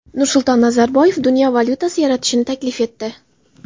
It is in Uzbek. Nursulton Nazarboyev dunyo valyutasi yaratishni taklif etdi .